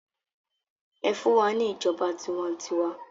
Ẹfun wa ni ijọba tiwantiwa!